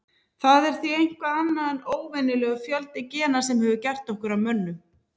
Það er því eitthvað annað en óvenjulegur fjöldi gena sem hefur gert okkur að mönnum.